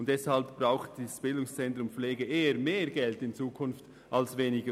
Deshalb braucht das BZ Pflege in Zukunft eher mehr Geld als weniger.